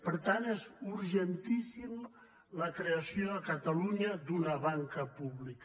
per tant és urgentíssima la creació a catalunya d’una banca pública